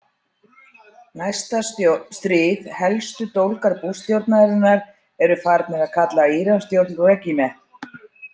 Næsta stríð Helstu dólgar Bushstjórnarinnar eru farnir að kalla Íransstjórn „regime“.